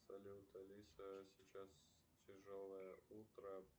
салют алиса сейчас тяжелое утро